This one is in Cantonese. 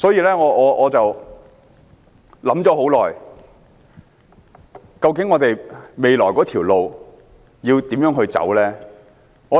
因此，我想了很久，究竟我們未來的路應如何走下去？